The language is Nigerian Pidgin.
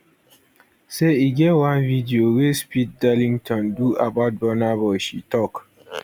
say e get one video wey speed darlington do about burna boy she tok